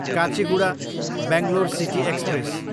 Kacheguda, Bangalore city express